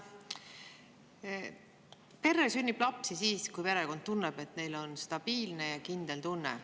Perre sünnib lapsi siis, kui perekond tunneb, et neil on stabiilne ja kindel tunne.